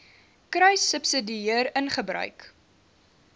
kruissubsidiëringgebruik